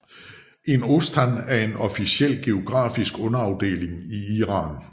En ostan er en officiel geografisk underafdeling i Iran